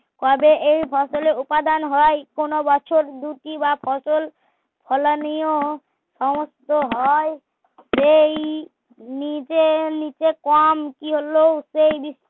কবে এই ফসল এ উপাদান হয় কোন বছর দুটি বা ফসল ফলানিও সমস্ত হয় সেই নিচে নিচে কম কি হলো সেই বি